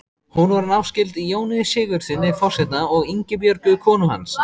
Hún var náskyld Jóni Sigurðssyni forseta og Ingibjörgu konu hans.